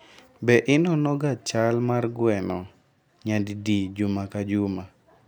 Be inonoga chal mar gweno nyadidi juma ka juma?